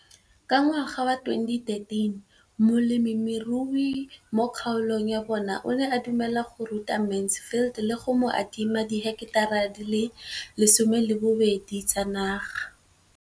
Ka ngwaga wa 2013, molemirui mo kgaolong ya bona o ne a dumela go ruta Mansfield le go mo adima di heketara di le 12 tsa naga.